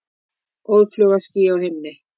Óðfluga ský á himni.